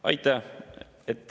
Aitäh!